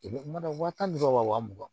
Wa tan dɔrɔn wa wa mugan